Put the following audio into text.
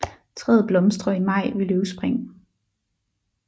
Træet blomstrer i maj ved løvspring